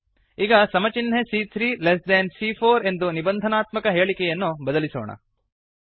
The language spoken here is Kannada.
ಈಗ ಸಮ ಚಿನ್ಹೆ ಸಿಎ3 ಲೆಸ್ ದೆನ್ ಸಿಎ4 ಎಂದು ನಿಬಂಧನಾತ್ಮಕ ಹೇಳಿಕೆಯನ್ನು ಬದಲಿಸೋಣ